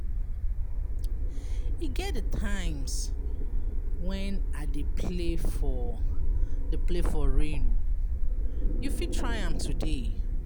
E get di times wen I dey play for dey play for rain, you fit try am today.